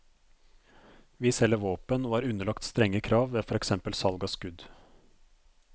Vi selger våpen og er underlagt strenge krav ved for eksempel salg av skudd.